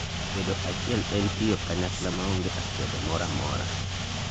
bedo achiel en tiyo kanyakla maonge akwede moro amora